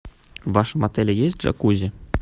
в вашем отеле есть джакузи